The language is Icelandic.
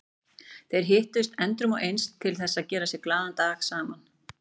Þeir hittust endrum og eins til þess að gera sér glaðan dag saman.